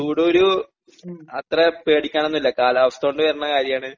ചൂട് കുരു അത്ര പേടിക്കാനൊന്നുല്ല കാലാവസ്ഥോണ്ട് വെര്ണ കാര്യാണ്